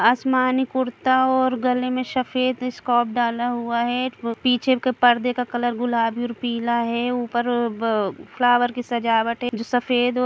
आसमानी कुर्ता और गले में सफेद स्कार्फ डाला हुआ है ए पीछे के पर्दे का कलर गुलाबी है और पीला है ऊपर ब फ्लावर की सजावट है जो सफेद --